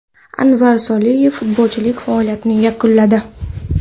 Anvar Soliyev futbolchilik faoliyatini yakunladi.